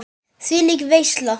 Þvílík veisla.